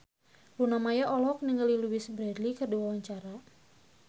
Luna Maya olohok ningali Louise Brealey keur diwawancara